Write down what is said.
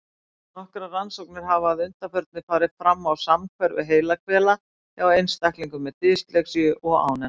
Nokkrar rannsóknir hafa að undanförnu farið fram á samhverfu heilahvela hjá einstaklingum með dyslexíu og án hennar.